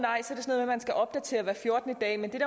man skal opdatere hver fjortende dag men det er